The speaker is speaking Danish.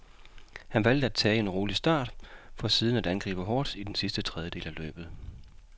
Han valgte at tage en rolig start, for siden at angribe hårdt i den sidste tredjedel af løbet.